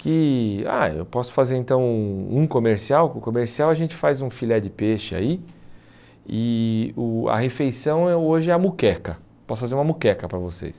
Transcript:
que ah eu posso fazer então um comercial, com o comercial a gente faz um filé de peixe aí e o a refeição hoje é a muqueca, posso fazer uma muqueca para vocês.